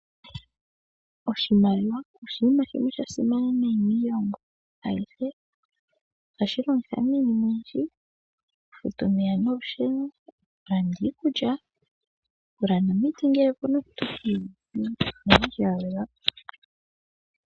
Oshimaliwa oshinima shimwe sha simana nayi miilongo ayihe. Ohashi longithwa miinima oyindji ngaashi okufuta omeya nolusheno, okulanda iikulya, okulanda omiti ngele ope na omuntu ina lala po nawa.